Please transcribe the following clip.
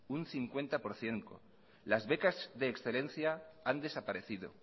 un cincuenta por ciento las becas de excelencia han desaparecido